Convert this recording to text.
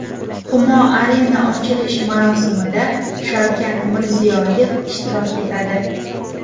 Humo Arena ochilish marosimida Shavkat Mirziyoyev ishtirok etadi.